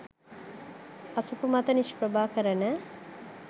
අසපු මත නිෂ්ප්‍රභා කරන